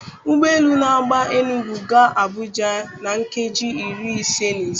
Ụgbọ elu n'agba Enugu ga Abuja na nkeji iri ise na ise.